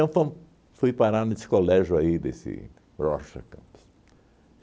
fui parar nesse colégio aí desse Rocha Campos.